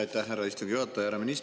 Aitäh, härra istungi juhataja!